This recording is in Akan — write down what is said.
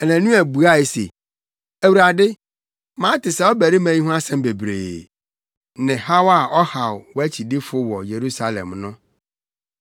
Anania buae se, “Awurade, mate saa ɔbarima yi ho nsɛm bebree, ne haw a ɔhaw wʼakyidifo wɔ Yerusalem no.